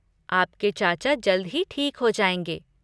आपके चाचा जल्द ही ठीक हो जाएंगे।